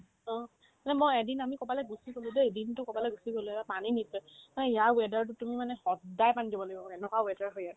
অ, মানে মই এদিন আমি ক'ৰবালে গৈছিলোগে দেই দিনতো ক'ৰবালে গুচি গ'লো এবাৰ পানী নিদিলে এ ইয়াৰ weather তো তুমি মানে সদ্দাই পানী দিব লাগিব এনেকুৱা weather হয় ইয়াত